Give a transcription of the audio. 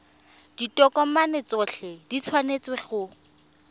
ditokomane tsotlhe di tshwanetse go